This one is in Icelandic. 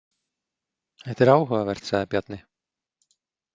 Þetta er áhugavert, sagði Bjarni.